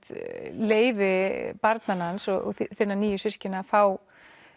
leyfi barna hans og þinna nýju systkina að fá